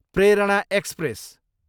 Prerana express